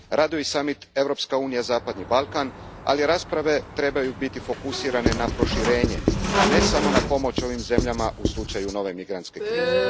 Raduje i samit EU Zapadni Balkan, ali rasprave trebaju biti fokusirane na proširenje, a ne samo na pomoć ovim zemljama u slučaju nove migrantske krize.